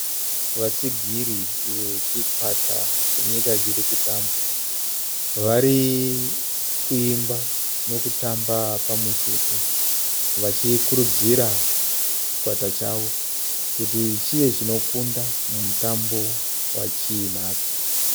Vatsigiri vechikwata chenyika chirikutamba, varikuimba nekutamba pamwechete vachikuridzira chikwata chavo kuti chive chinokunda mumutambo wachinacho.